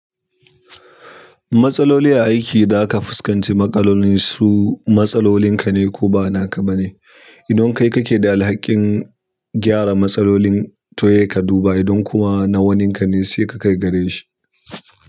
Matsaloli a aiki da aka fuskanci matsalolin kane ko bana ka bane idon kai kake da alhakin gyara matsalolin to sai ka duba idan nawanin kane sai ka kai gareshi.